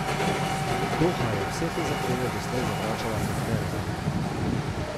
Doha je vse te zahteve doslej zavračala kot nerealne.